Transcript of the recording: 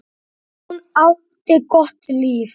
Hún átti gott líf.